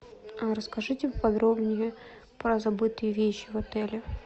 расскажите поподробнее про забытые вещи в отеле